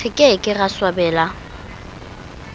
re ke ke ra swabela